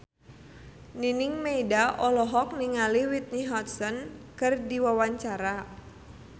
Nining Meida olohok ningali Whitney Houston keur diwawancara